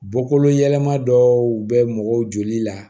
Bɔkolo yɛlɛma dɔw bɛ mɔgɔ joli la